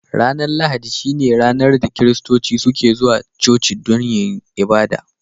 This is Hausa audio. Ranar Lahadi shine ranar da kiristoci suke zuwa cuci dan yin abada.